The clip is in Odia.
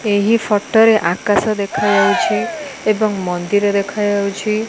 ଏହି ଫଟରେ ଆକାଶ ଦେଖାଯାଉଛି ଏବଂ ମନ୍ଦିର ଦେଖାଯାଉଛି।